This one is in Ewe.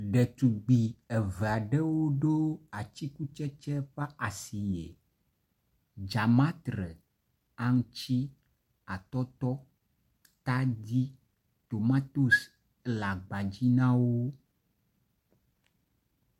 ɖetugbi evaɖewo ɖó atikutsetsi ƒa si dzamatre aŋutsi atɔtɔ atadi tomatoes la gba dzi nawo